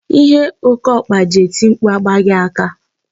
Ihe okeokpa ji eti mkpu a agbaghị aka.